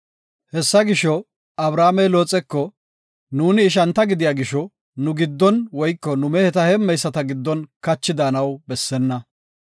Hessa gisho, Abramey Looxeko, “Nuuni ishanta gidiya gisho nu giddon woyko nu meheta heemmeyisata giddon kachi daanaw bessena.